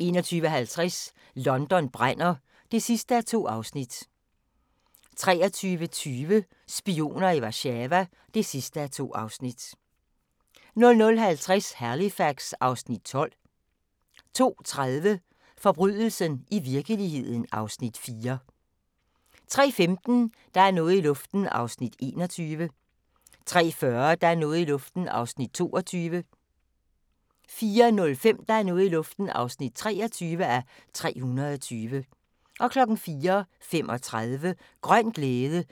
21:50: London brænder (2:2) 23:20: Spioner i Warszawa (2:2) 00:50: Halifax (Afs. 12) 02:30: Forbrydelsen i virkeligheden (Afs. 4) 03:15: Der er noget i luften (21:320) 03:40: Der er noget i luften (22:320) 04:05: Der er noget i luften (23:320) 04:35: Grøn glæde